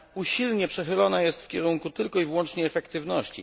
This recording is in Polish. Usilnie przechylone jest w kierunku tylko i wyłącznie efektywności.